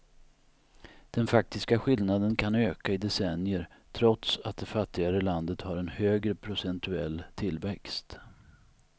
Den faktiska skillnaden kan öka i decennier trots att det fattigare landet har en högre procentuell tillväxt.